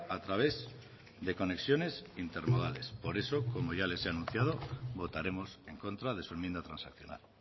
a través de conexiones intermodales por eso como ya les he anunciado votaremos en contra de su enmienda transaccional